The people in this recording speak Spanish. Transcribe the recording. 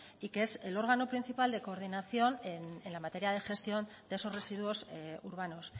y que es el órgano principal de coordinación en la materia de gestión de esos residuos urbanos